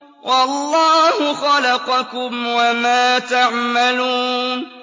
وَاللَّهُ خَلَقَكُمْ وَمَا تَعْمَلُونَ